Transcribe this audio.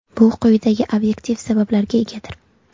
Bu quyidagi obyektiv sabablarga egadir.